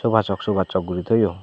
soba sok soba sok guri thoyun.